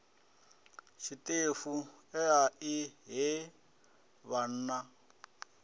tshiṱefu ea i he vhanna